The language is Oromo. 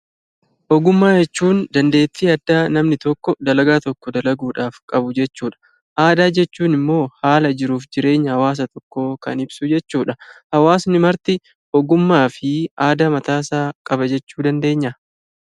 Ogummaa jechuun dandeettii addaa namni tokko dalagaa tokko dalaguudhaf qabu jechuudha. Aadaa jechuun immoo haala jiruuf jireenya hawaasa tokkoo kan ibsu jechuudha. Hawaasni marti ogummaa fi aadaa mataasaa qaba jechuu dandeenyaa?